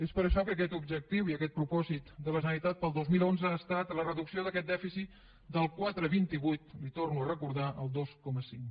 és per això que aquest objectiu i aquest propòsit de la generalitat per al dos mil onze ha estat la reducció d’aquest dèficit del quatre coma vint vuit li ho torno a recordar al dos coma cinc